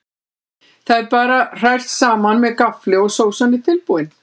Þetta er bara hrært saman með gaffli og sósan er tilbúin.